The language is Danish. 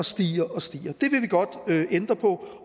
stiger og stiger